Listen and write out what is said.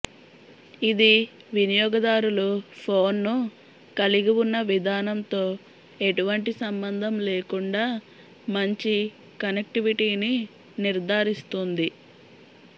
ఇది వినియోగదారులు ఫోన్ను కలిగివున్న విధానంతో ఎటువంటి సంబంధం లేకుండా మంచి కనెక్టివిటీని నిర్ధారిస్తుంది